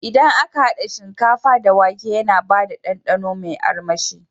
Idan aka hada shinkafa da wake yana bada dandano me armashi